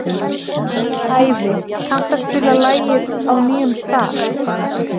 Ævi, kanntu að spila lagið „Á nýjum stað“?